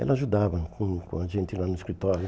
Ela ajudava com o com a gente lá no escritório.